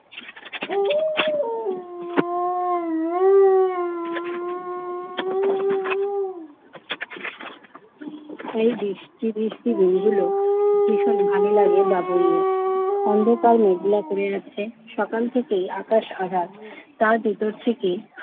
এই বৃষ্টি বৃষ্টি দিনগুলো ভীষণ ভালো লাগে বাবুইয়ের। অন্ধকার মেঘলা করে রাখছে, সকাল থেকেই আকাশ আঁধার। তার ভেতর থেকেই